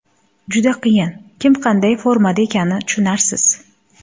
Juda qiyin, kim qanday formada ekani tushunarsiz.